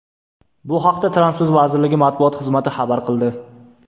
Bu haqda Transport vazirligi matbuot xizmati xabar qildi .